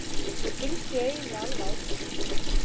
Mér finnst ég eiginlega alveg ágæt.